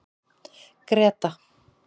Greta